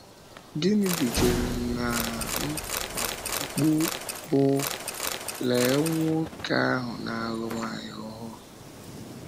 Gịnị dújere n’á mkpù bụ́: “Léé nwoke ahụ na-alụ nwanyị ọhụrụ!”